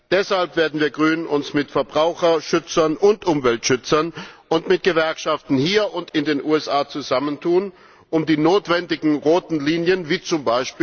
Deshalb werden wir Grünen uns mit Verbraucherschützern und Umweltschützern und mit Gewerkschaften hier und in den USA zusammentun, um die notwendigen roten Linien wie z.